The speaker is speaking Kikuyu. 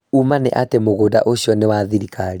Ūũma nĩ atĩ mũgũnda ũcio nĩwa thirikari